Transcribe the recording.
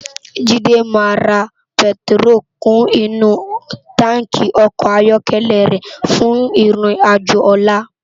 Jide má rá pètiró kún inú tànkí òkò áyòkèlè rè fún irin àjó òlá